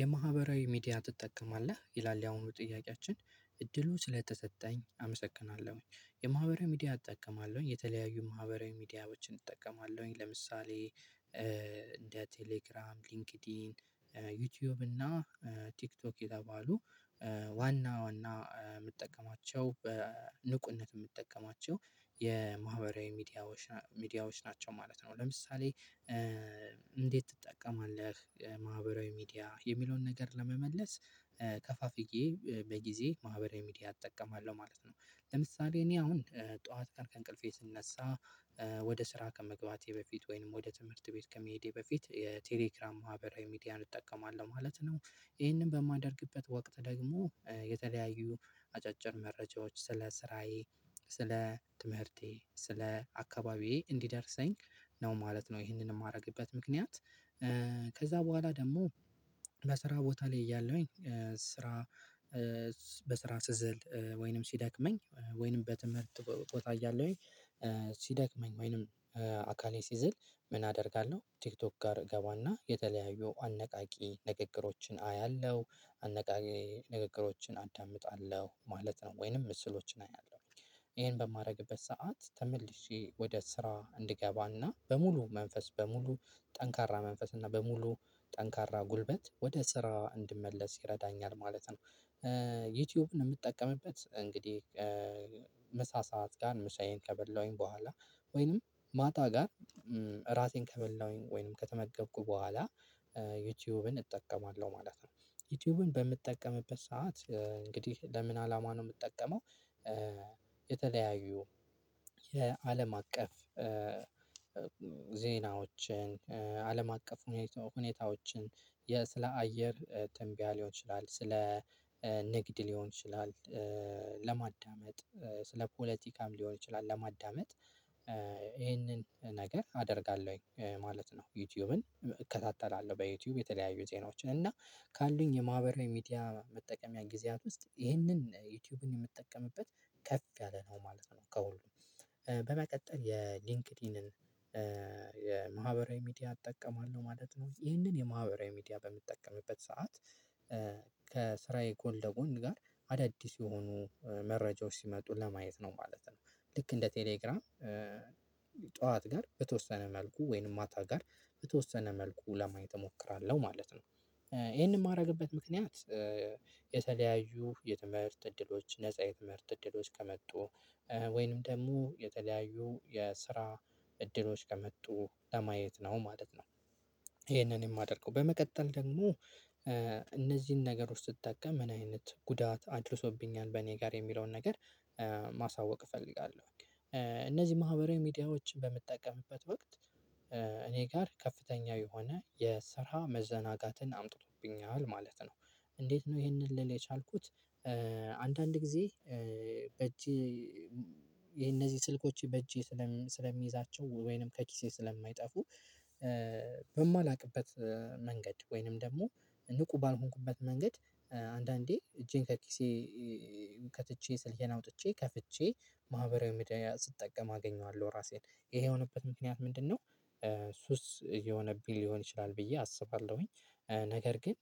የማህበራዊ ሚዲያ ትጠቀማለህ? ይላል ያሁኑ ጥያቄያችን። እድሉ ስለተሰጠኝ አመሰግናለሁኝ። የማህበራዊ ሚዲያ እጠቀማለሁኝ የተለያዩ ማህበራዊ ሚዲያዎችን እጠቀማለሁኝ። ለምሳሌ ቴሌግራም፣ ሊንክድኢን፣ ዩቲዩብ እና ቲክቶክ የተባሉ ዋና ዋና የምጠቀማቸው በንቁነት የምጠቀማቸው የማህበራዊ ሚዲያ፣ ሚዲያዎች ናቸው ማለት ነው። ለምሳሌ እንዴት ትጠቀማለህ ማህበራዊ ሚዲያ? የሚለውን ነገር ለመመለስ ከፋፍዬ በጊዜ ማህበራዊ ሚዲያ እጠቀማለሁ ማለት ነው። ለምሳሌ እኔ አሁን ጠዋት ቀን ከእንቅልፌ ስነሳ ወደ ስራ ከመግባቴ በፊት ወይንም ወደ ትምህርት ቤት ከመሄዴ በፊት የቴሌክራም ማህበራዊ ሚዲያን እጠቀማለሁ ማለት ነው። ይሄንን በማደርግበት ወቅት ደግሞ የተለያዩ አጫጭር መረጃዎች ስለ ስራዬ፣ ስለ ትምህርቴ፣ ስለ አካባቢዬ እንዲደርሰኝ ነው ማለት ነው ይሄንን የማደርግበት ምክንያት። ከዛ በኋላ ደግሞ ለስራ ቦታ ላይ ያለውኝ ስራ በስራ ስዝል፣ ወይንም ሲደክመኝ፣ ወይንም በትምህርት ቦታ እያለሁኝ ሲደክመኝ ወይንም አካሌ ሲዝል ምን አደርጋለሁ ቲክቶክ ጋር እገባና የተለያዩ አነቃቂ ንግግሮችን አያለሁ፤ አነቃቂ ንግግሮችን አዳምጣለሁ ማለት ነው። ወይንም ምስሎችን አያለሁኝ። ይሄን በማደርግበት ሰዓት ተመልሼ ወደ ስራ እንድገባና በሙሉ መንፈስ፣ በሙሉ ጠንካራ መንፈስና በሙሉ ጠንካራ ጉልበት ወደ ስራ እንድመለስ ይረዳኛል ማለት ነው። ዩቲዩብን የምጠቀምበት እንግዲህ ሰዓት ጋር ምሳዬን ከበላሁኝ በኋላ ወይንም ማታ ጋር ራሴን ከበላሁኝ ወይንም ከተመገብኩ በኋላ ዩቲዩብን እጠቀማለሁ ማለት ነው። ዩቲዩብን በምጠቀምበት ሰዓት እንግዲህ ለምን አላማ ነው የምጠቀመው? የተለያዩ የአለም አቀፍ ዜናዎችን፤ አለም አቀፍ ሁኔታዎችን፤ ስለ አየር ትንቢያ ሊሆን ይችላል፤ ስለ ንግድ ሊሆን ይችላል ለማዳመጥ ስለ ፖለቲካም ሊሆን ይችላል ለማዳመጥ ይሄንን ነገር አደርጋለሁኝ ማለት ነው። ዩቲዩብን እከታተላለሁ በዩቲዩብ የተለያዩ ዜናዎችን እና ካሉኝ የማህበራዊ ሚዲያ መጠቀሚያ ጊዜያት ውስጥ ይህንን ዩቲዩብን የምትጠቀምበት ከፍ ያለ ነው ማለት ነው ከሁሉም። በመቀጠል የሊንክድኢንን የማህበራዊ ሚዲያ እጠቀማለሁ ማለት ነው። ይሄንን የማህበራዊ ሚዲያ በምጠቀምበት ሰዓት ከስራዬ ጎል ደጎን ጋር አዳዲስ የሆኑ መረጃዎች ሲመጡ ለማየት ነው ማለት ነው። ልክ እንደ ቴሌግራም ጠዋት ጋር በተወሰነ መልኩ፣ ወይንም ማታ ጋር በተወሰነ መልኩ ለማየት እሞክራለሁ ማለት ነው። ይሄንን የማደርግበት ምክንያት የተለያዩ የትምህርት እድሎች፣ ነፃ የትምህርት እድሎች ከመጡ ወይንም ደግሞ የተለያዩ የስራ እድሎች ከመጡ ለማየት ነው ማለት ነው ይሄንን የማደርገው። በመቀጠል ደግሞ እነዚህን ነገር ውስጥ ስትጠቀም ምን አይነት ጉዳት አድርሶብኛል በእኔ ጋር የሚለውን ነገር ማሳወቅ እፈልጋለሁ። እነዚህ ማህበራዊ ሚዲያዎችን በምጠቀምበት ወቅት እኔ ጋር ከፍተኛ የሆነ የስራ መዘናጋትን አምጥቶብኛል ማለት ነው። እንዴት ነው ይሄንን ልል የቻልኩት? አንዳንድ ጊዜ በእጄ የነዚህ ስልኮች በእጄ ስለሚይዛቸው ወይንም ከኪሴ ስለማይጠፉ በማላውቅበት መንገድ ወይንም ደግሞ ንቁ ባልሆንኩበት መንገድ አንዳንዴ እጄን ከኪሴ ከትቼ ስልዬን አውጥቼ ከፍቼ ማህበራዊ ምድር ስትጠቀም አገኘዋለሁ ራሴን። ይሄ የሆነበት ምክንያት ምንድነው? ሱስ የሆነ ቢል ሊሆን ይችላል ብዬ አስባለሁኝ። ነገር ግን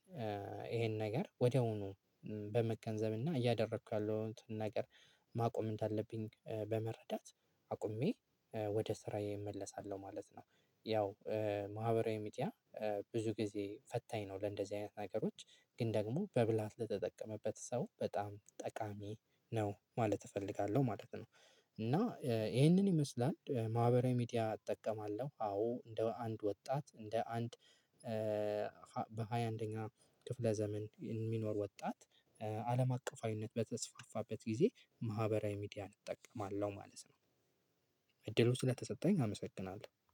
ይሄን ነገር ወዲያውኑ በመገንዘብና እና እያደረኩ ያለሁትን ነገር ማቆምን አለብኝ በመረዳት አቁሜ ወደ ስራዬ እመለሳለሁ ማለት ነው። ያው ማህበራዊ ሚዲያ ብዙ ጊዜ ፈታኝ ነው ለእንደዚህ አይነት ነገሮች። ግን ደግሞ በብላሃት ለተጠቀመበት ሰው በጣም ጠቃሚ ነው ማለት እፈልጋለሁ ማለት ነው። እና ይሄንን ይመስላል ማህበራዊ ሚዲያ እጠቀማለሁ። አዎ፣ እንደ አንድ ወጣት እንደ አንድ በሃያ አንደኛ ክፍለ ዘመን የሚኖር ወጣት አለም አቀፋይነት በተስፋፋበት ጊዜ ማህበራዊ ሚዲያ እጠቀማለሁ ማለት ነው። እድሉ ስለተሰጠኝ አመሰግናለሁ።